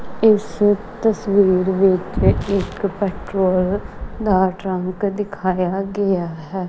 ਇਸ ਤਸਵੀਰ ਵਿੱਚ ਇੱਕ ਪੈਟ੍ਰੋਲ ਦਾ ਟਰੰਕ ਦਿਖਾਇਆ ਗਿਆ ਹੈ।